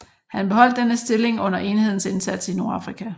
Han beholdt denne stilling under enhedens indsats i Nordafrika